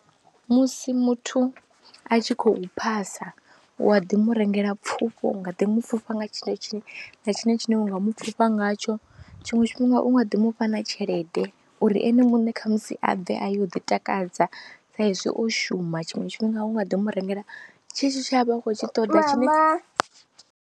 Musi muthu a tshi khou phasa wa ḓi mu rengela pfhufho u nga ḓi mu pfhufha nga tshine tshiṅwe na tshiṅwe tshine wa mu pfhufha ngatsho, tshiṅwe tshifhinga u nga ḓi mu fha na tshelede uri ene muṋe kha musi a bve a ya u ḓi akadza sa izwi o shuma, tshiṅwe tshifhinga u nga ḓo mu rengela tshetshi tshe a vha a khou tshi ṱoḓa.